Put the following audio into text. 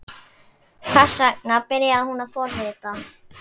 Ég reyndi antabus en drakk samt og varð fárveikur.